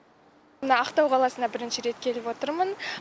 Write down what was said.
мына ақтау қаласына бірінші рет келіп отырмын